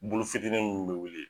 Bulufitini minnu bi wili